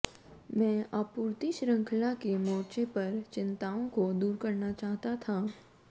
मैं आपूर्ति श्रृंखला के मोर्चे पर चिंताओं को दूर करना चाहता था